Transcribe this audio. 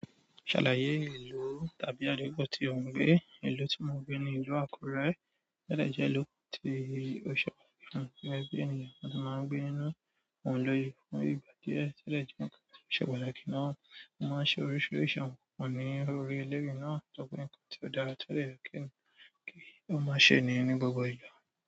Ṣàlàyé ìlú tàbí àdúgbò tí ò ń gbé. Ìlú tí mo ń gbé ní ìlú Àkúrẹ́, o dẹ̀ jẹ́ ìlú tí ó ṣe pàtàkì ní, ẹgbẹ́ ènìyàn ni wọ́n máa ń gbé nínú, wọ́n lóye fún ìgbà díẹ̀ tẹ́lẹ̀ kí wọ́n ṣe pàtàkì náà, wọ́n máa ń ṣe oríṣiríṣi ohun, wọ́n ní orí eléèri náà tọ́pẹ́ nǹkan tí ó dára tẹ́lẹ̀ kí wọ́n má ṣe ní ní gbogbo ìgbà.